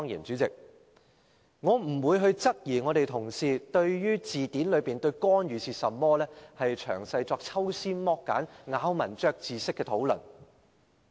主席，我不會質疑我們的同事對字典中"干預"的定義，作抽絲剝繭、咬文嚼字式的討論。